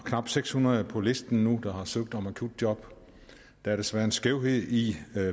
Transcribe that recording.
knap seks hundrede på listen nu der har søgt om akutjob der er desværre en skævhed i